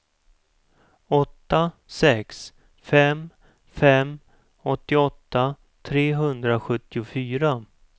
åtta sex fem fem åttioåtta trehundrasjuttiofyra